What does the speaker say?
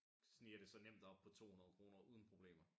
Sniger det sig nemt op på 200 kroner uden problemer